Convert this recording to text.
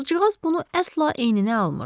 Qızcığaz bunu əsla eyninə almırdı.